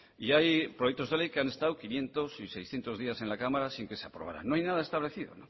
y hay proyectos de ley que han estado quinientos y seiscientos días en la cámara sin que se aprobaran no hay nada establecido